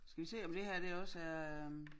Skal vi se om det her det også er